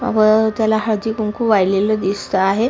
व त्याला हळदी कुंकू वाहिलेल दिसत आहे.